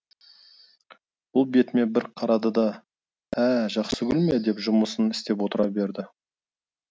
бұл бетіме бір қарады да ә жақсыгүл ме деп жұмысын істеп отыра берді